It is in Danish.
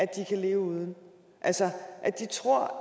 kan leve uden altså de tror